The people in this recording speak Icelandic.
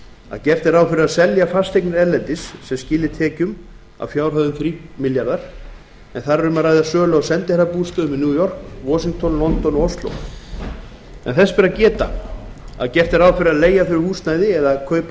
að gert er ráð fyrir að seldar verði fasteignir erlendis sem skili tekjum að fjárhæð þrír milljarðar króna en þar er um að ræða sölu á sendiherrabústöðum í new york washington london og ósló þess ber að geta að gert er ráð fyrir að leigja þurfi húsnæði eða kaupa ódýrari eignir